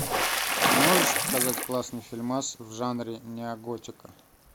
можешь показать классный фильмас в жанре неоготика